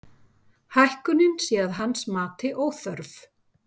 Hækkunin sé að hans mati óþörf